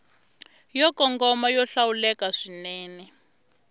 yo kongoma yo hlawuleka swinene